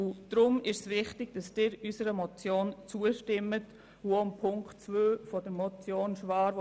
Deshalb ist es wichtig, dass Sie unserer Motion zustimmen sowie auch der in die gleiche Richtung gehenden Ziffer 2 der Motion Schwaar.